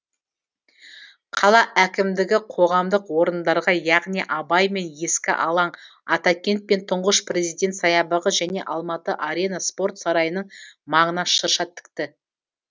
қала әкімдігі қоғамдық орындарға яғни абай мен ескі алаң атакент пен тұңғыш президент саябағы және алматы арена спорт сарайының маңына шырша тікті